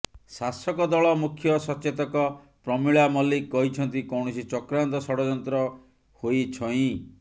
ଶାସକ ଦଳ ମୁଖ୍ୟ ସଚେତକ ପ୍ରମିଳା ମଲ୍ଲିକ କହିଛନ୍ତି କୌଣସି ଚକ୍ରାନ୍ତ ଷଡଯନ୍ତ୍ର ହୋଇଛଇ